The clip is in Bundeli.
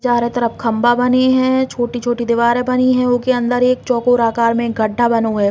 चारों तरफ खंभा बनी है छोटी-छोटी दीवारें बनी है उ के अंदर एक चौकोर अकार में गड्ढा बनो है।